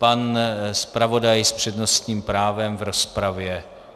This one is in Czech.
Pan zpravodaj s přednostním právem v rozpravě.